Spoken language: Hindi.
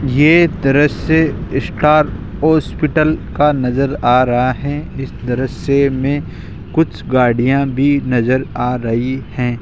ये दृश्य का हॉस्पिटल का नज़र आ रहा है इस दृश्य मे कुछ गाड़ियां भी नज़र आ रही है।